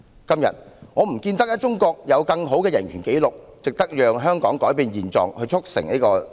今天，我看不到中國有更好的人權紀錄，值得香港改變現狀以促成此事。